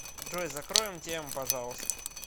джой закроем тему пожалуйста